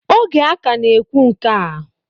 Oge a ka na-ekwu nke a